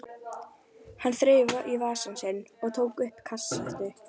Hann þreifaði í vasann sinn og tók upp kassettu.